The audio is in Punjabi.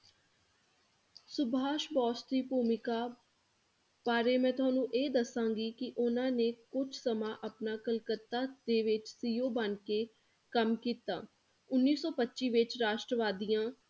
ਸੁਭਾਸ਼ ਬੋਸ ਦੀ ਭੂਮਿਕਾ ਬਾਰੇ ਮੈ ਤੁਹਾਨੂੰ ਇਹ ਦੱਸਾਂਗੀ ਕਿ ਉਹਨਾਂ ਨੇ ਕੁਛ ਸਮਾਂ ਆਪਣਾ ਕਲਕੱਤਾ ਦੇ ਵਿੱਚ CEO ਬਣਕੇ ਕੰਮ ਕੀਤਾ, ਉੱਨੀ ਸੌ ਪੱਚੀ ਵਿੱਚ ਰਾਸ਼ਟਰਵਾਦੀਆਂ